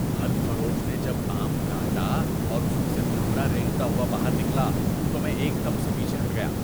پھل فروش نے جب آم کاٹا اور اس میں سے بھونرا رینگتا ہوا باہر نکلا تو میں ایک دم سے پیچھے ہٹ گیا۔